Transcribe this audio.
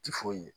Ti foyi ye